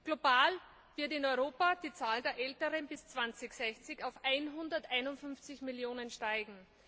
Global wird in Europa die Zahl der Älteren bis 2060 auf 151 Millionen steigen.